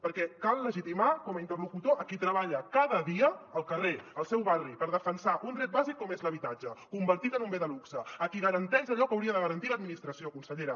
perquè cal legitimar com a interlocutor a qui treballa cada dia al carrer al seu barri per defensar un dret bàsic com és l’habitatge convertit en un bé de luxe a qui garanteix allò que hauria de garantir l’administració consellera